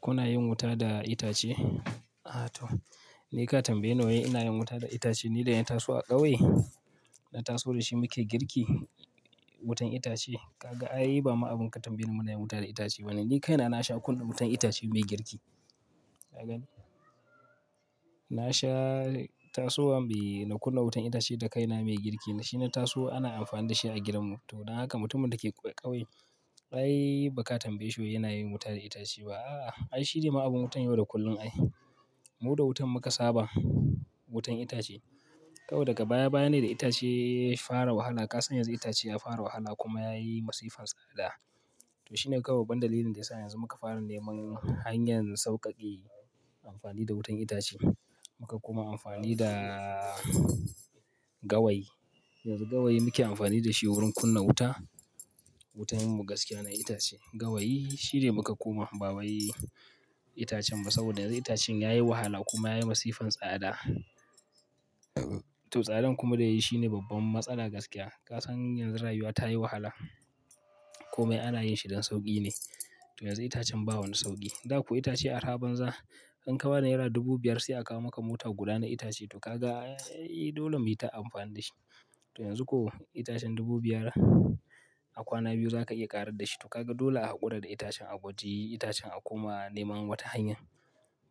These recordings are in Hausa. Kuna yin wuta da itace? A toh, ni ka tambaye wai ina yin wuta da itace ni da na taso a ƙauye. Na taso da shi muke girki, wutan itace. Kaga ai ba ma abun ka tambaye mu na yin wuta da itace ba ne. Ni kaina na sha kullum wutan itace mai girki. Ka gani? Na sha tasowa, bai, in kunna wutan itace da kaina mai girki. Shi na taso ana amfani da shi a gidan mu. To don haka mutumin da ke ƙauye ai ba ka tambaye shi yana yin wuta da itace ba. A, ai shi ne ma abun mutum yau da kullum ayi. Mu da wutan muka saba, wutan itace. To daga baya baya ne itace ya fara wahala. Ka san yanzu itace ya fara wahala kuma ya yi masifan tsada. To shi ne kawai ban dalilin da ya sa yanzu muka fara neman hanyar sauƙaƙe amfani da wutan itace. Muka kuma amfani da gawayi. Yanzu gawayi muke amfani da shi wurin kunna wuta. Wutan mu gaskiya na itace. Gawayi shi ne muka kuma babaye itacen mu saboda yanzu itacen ya yi wahala kuma ya yi masifan tsada. To tsadan kuma da yayi shine babban matsala gaskiya. Ka san yanzu rayuwa ta yi wahala. Kumai ana yin shi don sauƙi ne. To yanzu itacen ba wani sauƙi. Da ku itace a arabanza in ka ba ni naira dubu biyar sai a kawo maka motar kula na itace. To kaga ai dole mu yi ta amfani da shi. To yanzu ko itacen dubu biyar a kwana biyu zaka iya ƙarar da shi. To kaga dole a haƙura da itacen a gwaji itacen a kuma neman wata hanya.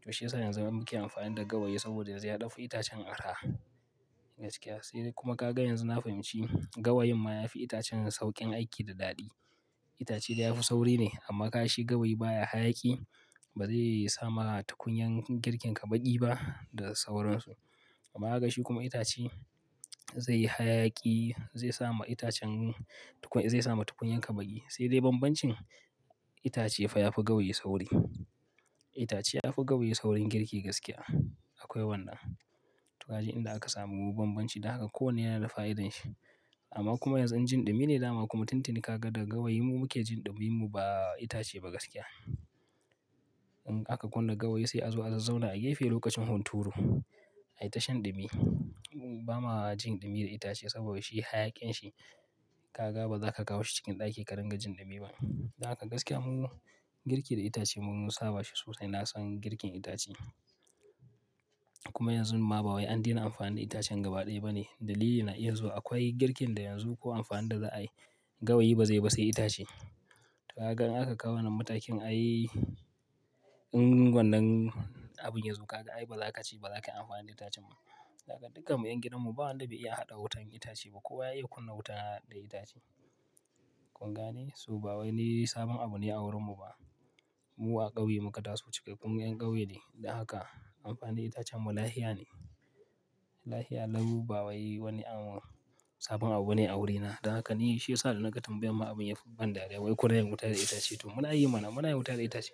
To shi ya sa yanzu zamu ke amfani da gawayi saboda zai ɗafu itacen a raha gaskiya. Sai dai kuma ka ga yanzu na fahimci gawayin ma yafi itacen sauƙin aiki da daɗi. Itace da yafi sauri ne amma ka shi gawayi baya hayaki ba zai yi sa ma takunyan girkin ka baƙi ba da sauransu. Amma ka ga shi kuma itace zai yi hayaki zai sa ma itacen tukun, zai sa ma tukunyanka baƙi. Sai dai bambancin itace fa yafi gawayi sauri. Itace yafi gawayi saurin girki gaskiya. Akwai wannan. To ka ji inda aka samu bambanci. Dakaka kowane yana da fa'idar shi. Amma kuma yanzu jin ɗumi ne dama kuma tun tuni ka ga da gawayin mu muke jin ɗumi mu ba itace ba gaskiya. In aka kunna gawayi sai a zo a zazzauna a gefe lokacin hunturu. Ai tashin ɗumi. Ba ma jin ɗumi da itace saboda shi hayakin shi ka ga ba za ka kawo shi cikin ɗaki ka ringa jin ɗumi ba. Ta haka gaskiya mu girki da itace mun saba shi sosai. Na san girkin itace. Kuma yanzu ma babai an daina amfani da itacen gaba ɗaya ba ne. Dalili na iya zuwa akwai girkin da yanzu ko amfanin da za a yi gawayi ba zai ba sai itace. To ka gan aka kawo nan matakin ayi in wannan abun yazo kaga ai ba za ka ci ba. Ba za ka yi amfani da itacen mu ba. Ka ga dukkan mu ƴan gidan mu ba wanda bai iya haɗa wutan itace ba. Kowa ya iya kunna wuta da itace. Kun gane? So ba wani sabon abu ne a wurin mu ba. Mu a ƙauye muka taso cike. Kun ƴan ƙauye ne. Da haka amfani da itacen mu lahia ne. Lahia lau ba wani anwo sabon abu ne a wurina. Da haka ne shi ya sa da naga tambayan ma abun yakan ban dariya wai ko ina wuta da itace. To muna yi mana, muna yin wuta da itace.